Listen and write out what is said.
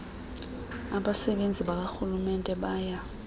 abasebenzi bakarhulumente baya